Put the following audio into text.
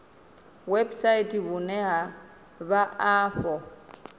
website vhune ha vha afho